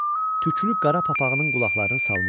Tüklü qara papağının qulaqlarını salmışdı.